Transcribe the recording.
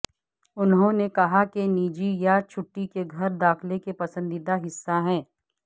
انہوں نے کہا کہ نجی یا چھٹی کے گھر داخلہ کے پسندیدہ حصہ ہے